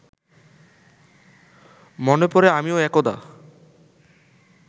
মনে পড়ে আমিও একদা